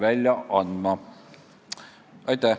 Aitäh!